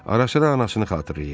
Arasıra anasını xatırlayırdı.